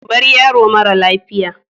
Bar yaro mara lafiya